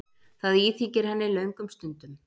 Það íþyngir henni löngum stundum.